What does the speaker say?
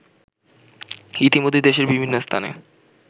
ইতিমধ্যেই দেশের বিভিন্ন স্থানে